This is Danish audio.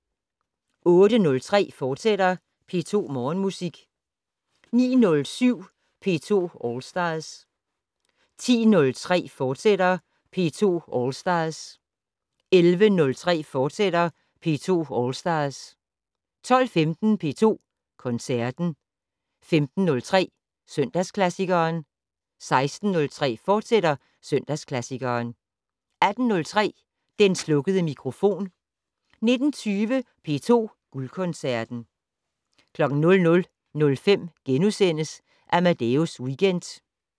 08:03: P2 Morgenmusik, fortsat 09:07: P2 All Stars 10:03: P2 All Stars, fortsat 11:03: P2 All Stars, fortsat 12:15: P2 Koncerten 15:03: Søndagsklassikeren 16:03: Søndagsklassikeren, fortsat 18:03: Den slukkede mikrofon 19:20: P2 Guldkoncerten 00:05: Amadeus Weekend *